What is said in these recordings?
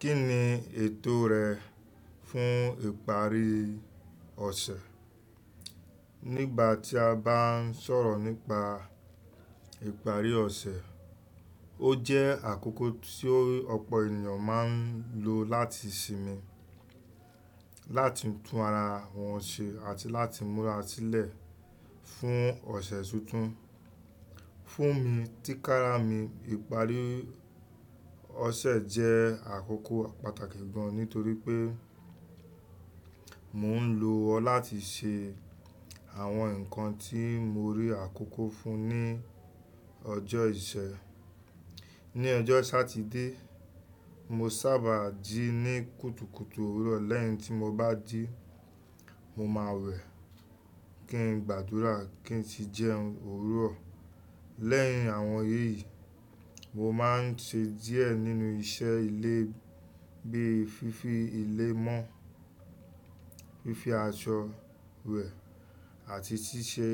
Kí ni ètò rẹ fún ìparí ọ̀sẹ̀? Nígbà tí a bá ń sọ̀rọ̀ nípa ìparí ọ̀sẹ̀, ó jẹ́ àkókò tí ọ̀pọ̀ ènìyàn máa ń lo láti sinmi, láti tún ara wọn ṣe àti láti múra sílẹ̀ fún ọ̀sẹ̀ tuntun. Fún mi, tí kára mi, ìparí ọ̀sẹ̀ jẹ́ àkókò pàtàkì gan nítorí pé mò ń lo ọ́ láti ṣe àwọn nǹkan tí mo rí àkókò fún ní ọjọ́ ìṣẹ́. Ní ọjọ́ Satide, mo sábà jí ní kùtùkùtù òwúrọ̀. Lẹ́yìn tí mo bá jí, mo máa wẹ̀, kí n gbàdúrà, kí n sì jẹun òwúrọ̀. Lẹ́yìn àwọn èyí, mo máa ń ṣe díẹ̀ nínú iṣẹ́ ilé bíi fífi ilé mọ́, fífi aṣọ wẹ̀ àti ṣíṣe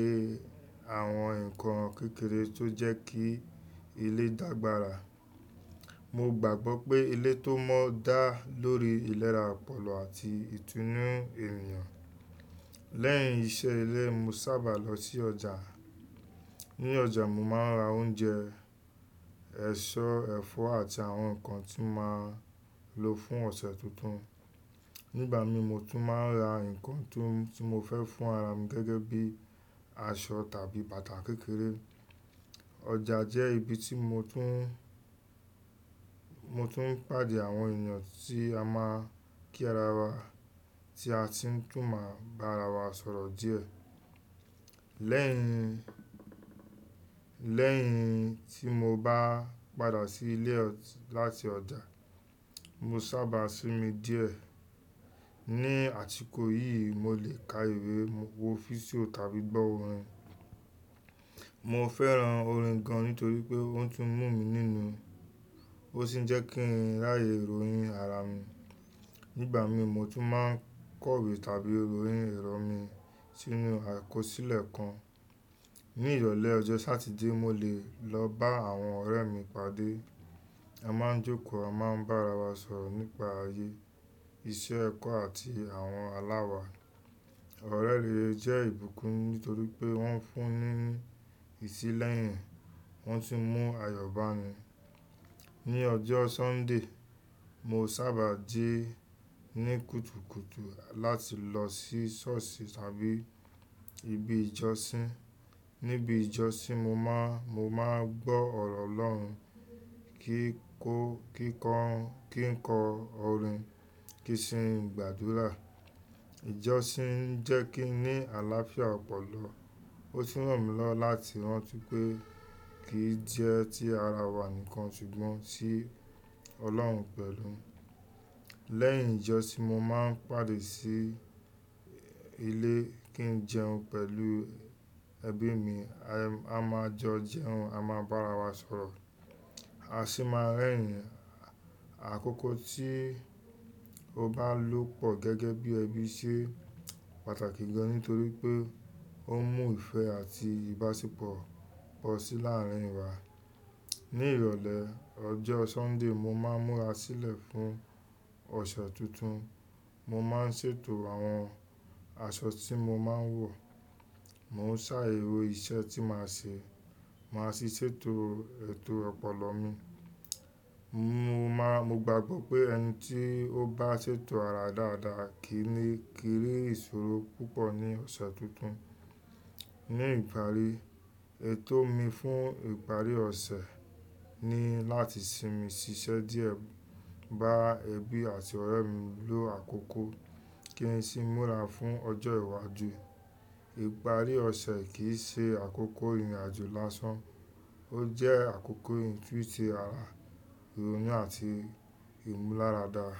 àwọn nǹkan kékeré tó jẹ́ kí ilé dàgbàra. Mo gbàgbọ́ pé ilé tó mọ́ dá lórí ìlera ọpọlọ àti ìtúnú ẹ̀yàn. Lẹ́yìn iṣẹ́ ilé, mo sábà lọ sí ọjà. Ní ọjà, mo máa ń ra oúnjẹ, ẹ̀ṣọ́, ẹ̀fọ́ àti àwọn nǹkan tí màá lo fún ọ̀sẹ̀ tuntun. Nígbà mi, mo tún máa ń ra nǹkan tí mo fẹ́ fún ara mi gẹ́gẹ́ bí i aṣọ tàbí bàtà kékeré. Ọjà jẹ́ ibi tí mo tún ń pàdé àwọn ènìyàn tí a máa kí ara wa tí a ti tún máa bá ara wa sọ̀rọ̀ díẹ̀. Lẹ́yìn tí mo bá padà sí ilé láti ọjà, mo sábà sinmi díẹ̀. Ni àsìkò yìí, mo lè ka ìwé, wo físíò tàbí gbọ́ orin. Mo fẹ́ran orin gan nítorí pé ó tún mú mi nínú ó sì ń jẹ́ kí n ráyè ròyìn ara mi. Nígbà mi, mo tún máa ń kọ'wé tàbí ròyìn ẹ̀rọ mi sínú àkọsílẹ̀ kan. Ni ìrọ̀lẹ́ ọjọ́ Satide, mo lè lọ bá àwọn ọ̀rẹ́ mi pàdé. A máa ń jókòó, a máa ń bá ara wa sọ̀rọ̀ nípa ayé, iṣẹ́, ẹ̀kọ́ àti àwọn aláwa. Ọ̀rẹ́ lè jẹ́ ìbùkún nítorí pé wọ́n fún ni ní ìtílẹ̀yìn, wọ́n tún mú ayọ̀ bá mi. Ní ọjọ́ sunday, mo sábà jí ní kùtùkùtù láti lọ sí ṣọ́ọ̀ṣì tàbí ibi ìjọsìn. Níbi ìjọsìn, mo máa ń gbọ́ ọ̀rọ̀ Ọlọ́run, kí n kọ orin, kí n sin gbàdúrà. Ìjọsìn ń jẹ́ kí n ní àlàáfíà ọpọlọ, ó sì ràn mí lọ́ láti rántí pé kì í jẹ́ tí ara wa nìkan ṣùgbọ́n sí Ọlọ́run pẹ̀lú. Lẹ́yìn ìjọsìn, mo máa ń pàdé sí ilé kí n jẹun pẹ̀lú ẹbí mi. A máa jọ jẹun, a máa bá ara wa sọ̀rọ̀, a sì máa rẹ́rìn ín. Àkókò tí o bá lọ pọ̀ gẹ́gẹ́ bí ẹbí ṣé pàtàkì gan nítorí pé ó mú ìfẹ́ àti ìbáṣepọ̀ pọ̀ sí láàárín wa. Ní ìrọ̀lẹ́ ọjọ́ Sọ́ńdè, mo máa ń múra sílẹ̀ fún ọ̀sẹ̀ tuntun. Mo máa ń ṣètò àwọn aṣọ tí mo máa ń wọ̀, mo ń ṣàérò iṣẹ́ tí màá ṣe, màá sì ṣètò ètò ọpọlọ mi. Mo gbàgbọ́ pé ẹni tí ó bá ṣètò ara dáadáa kì í rí ìṣòro púpọ̀ ní ọ̀sẹ̀ tuntun. Ní ìparí, ètò mi fún ìparí ọ̀sẹ̀ ni láti sinmi ṣiṣẹ́ díẹ̀, bá ẹbí àti ọ̀rẹ́ mi lò àkókò, kí n sì múra fún ọjọ́ ìwájú. Ìparí ọ̀sẹ̀ kì í ṣe àkókò ìrìnàjò lásán, ó jẹ́ àkókò ìtúntùn ara, ìròyìn àti ìmúlárà dáa.